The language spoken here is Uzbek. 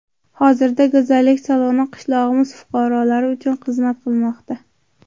Hozirda go‘zallik saloni qishlog‘imiz fuqarolari uchun xizmat qilmoqda.